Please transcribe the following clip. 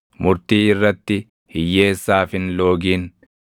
murtii irratti hiyyeessaaf hin loogin.